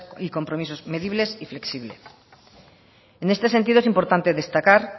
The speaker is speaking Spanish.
y compromisos medibles y flexibles en este sentido es importante destacar